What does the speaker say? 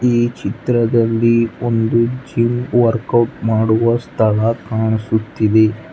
ಈ ಚಿತ್ರದಲ್ಲಿ ಒಂದು ಜಿಮ್ ವರ್ಕೌಟ್ ಮಾಡುವ ಸ್ಥಳ ಕಾಣಿಸುತ್ತಿದೆ.